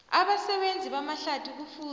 abasebenzi bamahlathi kufuze